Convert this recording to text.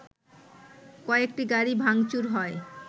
কয়েকটি গাড়ি ভাংচুর হয়